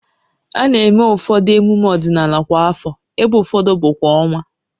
A na-eme ụfọdụ emume ọdịnala kwa afọ, ebe ụfọdụ bụ kwa ọnwa